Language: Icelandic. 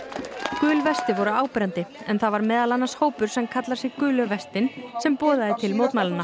gul vesti voru áberandi en það var meðal annars hópur sem kallar sig gulu sem boðaði til mótmælanna